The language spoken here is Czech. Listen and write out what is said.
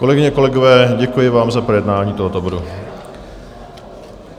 Kolegyně, kolegové, děkuji vám za projednání tohoto bodu.